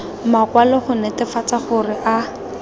makwalo go netefatsa gore a